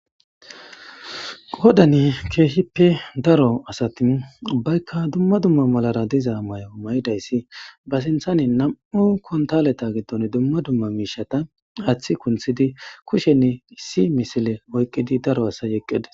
Qoddan keehippe daro asati ubbayikka dumma dummara dizza mayora mayiddaissi bassiniththan na'mu kunththaleta giddon dumma dumma mishshata haththe kuniththidi kushshen isi misile oyikidi daro asay eqqides.